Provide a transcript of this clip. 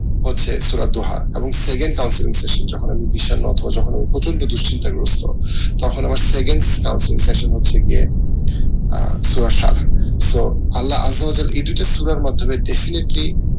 হচ্ছে সূরার দোহা এবং second যখন বিষন্নতা যখন প্রচ্ন্ড দুশ্চিন্তা গ্রস্ত তখন আমার second হচ্ছে গিয়ে আহ এই দুটি সূরার মাধ্যমে definitely